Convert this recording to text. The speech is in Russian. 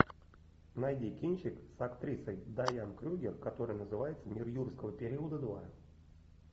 найди кинчик с актрисой дайан крюгер который называется мир юрского периода два